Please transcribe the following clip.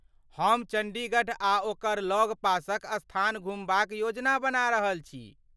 हम चण्डीगढ़ आ ओकर लगपासक स्थान घुमबाक योजना बना रहल छी।